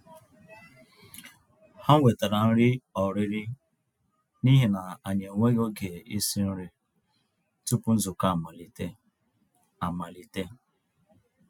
Há wètàrà nrí ọ̀rị́rị́ n'íhi nà ànyị́ ènwéghị́ ògé ísi nrí túpụ̀ nzukọ́ amàlítè. amàlítè.